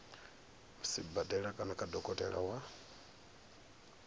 sibadela kana kha dokotela wa